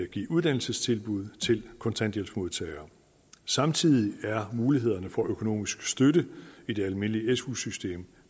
give uddannelsestilbud til kontanthjælpsmodtagere samtidig er mulighederne for økonomisk støtte i det almindelige su system